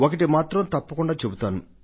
ఒక్కటి మాత్రం తప్పకుండా చెబుతాను